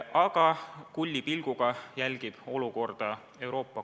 Aga Euroopa Komisjon jälgib olukorda kulli pilguga.